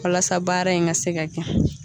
Walasa baara in ka se ka kɛ.